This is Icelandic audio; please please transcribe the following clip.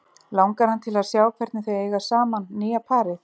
Langar hann til að sjá hvernig þau eiga saman, nýja parið?